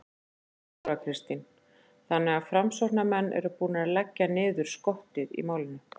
Þóra Kristín: Þannig að framsóknarmenn eru búnir að leggja niður skottið í málinu?